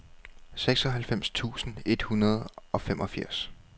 seksoghalvfems tusind et hundrede og femogfirs